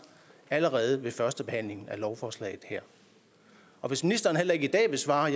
allerede ved førstebehandlingen af lovforslaget her og hvis ministeren heller ikke i dag vil svare har